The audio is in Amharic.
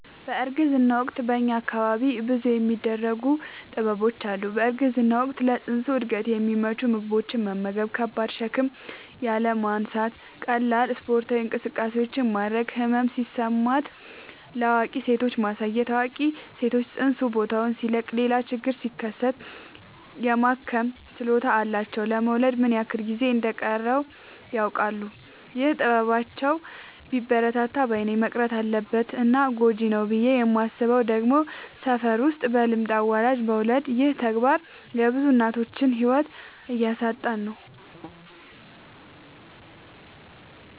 በእርግዝና ወቅት በእኛ አካባቢ ብዙ የሚደረጉ ጥበቦች አሉ። በእርግዝና ወቅት ለፅንሱ እድገት የሚመቹ ምግቦችን መመገብ። ከባድ ሸክም ያለማንሳት ቀላል ስፓርታዊ እንቅስቃሴዎችን ማድረግ። ህመም ሲሰማት ለአዋቂ ሴቶች ማሳየት አዋቂ ሰዎች ፅንሱ ቦታውን ሲለቅ ሌላ ችግር ሲከሰት የማከም ችሎታ አላቸው ለመወለድ ምን ያክል ጊዜ እንደ ሚቀረውም ያውቃሉ። ይህ ጥበባቸው ቢበረታታ ባይነኝ። መቅረት አለበት እና ጎጂ ነው ብዬ የማስበው ደግሞ ሰፈር ውስጥ በልምድ አዋላጅ መውለድ ይህ ተግባር የብዙ እናቶችን ህይወት እያሳጣን ነው።